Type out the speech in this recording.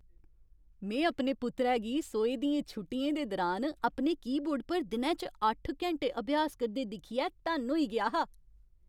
में अपने पुत्तरै गी सोहे दियें छुट्टियें दे दुरान अपने कीबोर्ड पर दिनै च अट्ठ घैंटे अभ्यास करदे दिक्खियै धन्न होई गेआ हा।